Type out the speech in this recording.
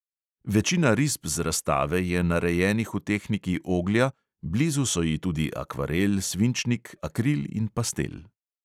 Večina risb z razstave je narejenih v tehniki oglja, blizu so ji tudi akvarel, svinčnik, akril in pastel.